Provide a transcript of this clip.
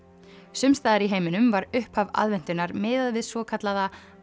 sums staðar í heiminum var upphaf aðventunnar miðað við svokallaða